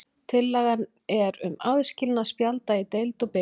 Tillagan er um aðskilnað spjalda í deild og bikar.